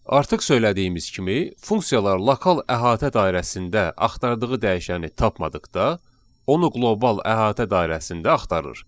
Artıq söylədiyimiz kimi funksiyalar lokal əhatə dairəsində axtardığı dəyişəni tapmadıqda, onu qlobal əhatə dairəsində axtarır.